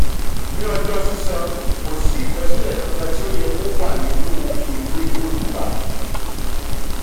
ní ọjọ́ sísan kò sí ìkọsílẹ̀ kankan tó yẹ kó wà nínú ìwé olùgbà.